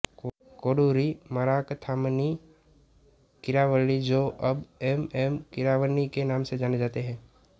कोडुरी मराकथामनी कीरावणी जो अब M M Keeravani के नाम से जाने जाते हैं